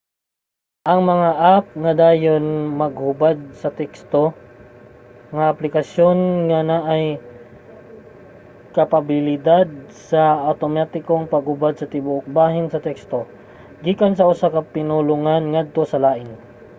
mga app nga dayon maghubad sa teksto – mga aplikasyon nga naay kapabilidad sa awtomatikong paghubad sa tibuok bahin sa teksto gikan sa usa ka pinulongan ngadto sa lain